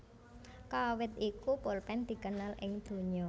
Kawit iku polpen dikenal ing donya